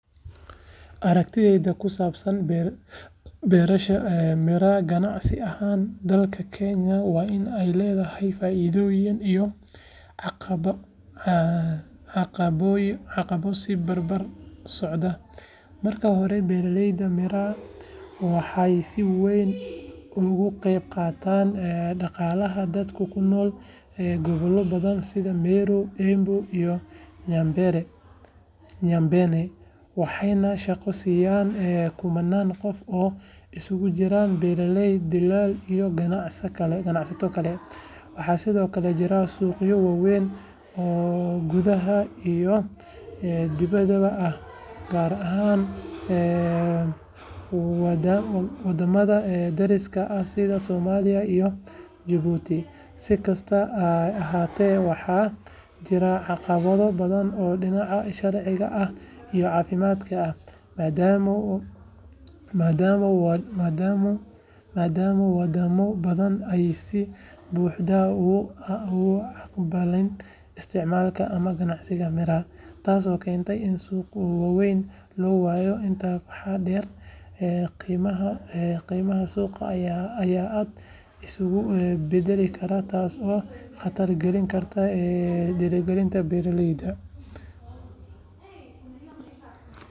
Aragtidaydu ku saabsan beerashada miraa ganacsi ahaan dalka Kenya waa in ay leedahay faa’iidooyin iyo caqabado is barbar socda. Marka hore, beerashada miraa waxay si weyn uga qayb qaadataa dhaqaalaha dadka ku nool gobollo badan sida Meru, Embu iyo Nyambene, waxayna shaqo siisay kumannaan qof oo isugu jira beeraley, dillaal iyo ganacsato kale. Waxaa sidoo kale jira suuqyo waaweyn oo gudaha iyo dibaddaba ah, gaar ahaan waddamada dariska ah sida Soomaaliya iyo Jabuuti. Si kastaba ha ahaatee, waxaa jira caqabado badan oo dhinaca sharciga ah iyo caafimaadka ah, maadaama wadamo badan aysan si buuxda u aqbalin isticmaalka ama ganacsiga miraa, taas oo keentay in suuqyo waaweyn la waayo. Intaa waxaa dheer, qiimaha suuqa ayaa aad isu beddeli kara taasoo khatar gelin karta dakhliga beeraleyda.